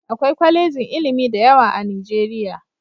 Akwai kwalejin ilimi da yawa a Nijeriya